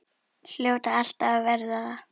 Hljóta alltaf að verða það.